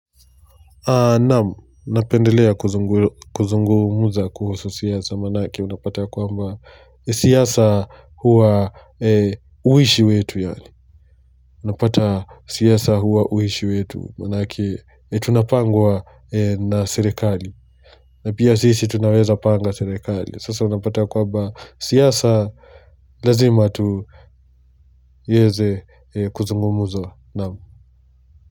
Naam, napendelea kuzungumuza kuhusu siasa manake unapata kwamba siasa huwa uishi wetu yaani Unapata siasa huwa uishi wetu manake tunapangwa na serekali na pia sisi tunaweza panga serekali sasa unapata kwamba siasa lazima teze kuzungumuza naamu.